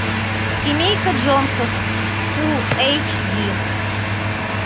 семейка джонсов фул эйч ди